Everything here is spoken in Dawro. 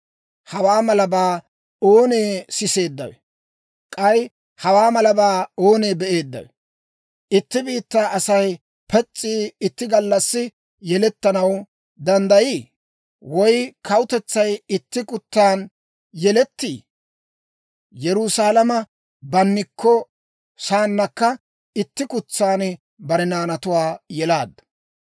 Hawaa malabaa oonee siseeddawe? K'ay hawaa malabaa oonee be'eeddawe? Itti biittaa Asay pes's'i itti gallassi yelettanaw danddayiiyye? Woy kawutetsay itti kutsan yelettii? Yerusaalama bannikko saanakka, itti kutsan bare naanatuwaa yelaaddu.